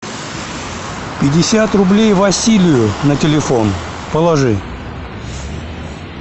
пятьдесят рублей василию на телефон положи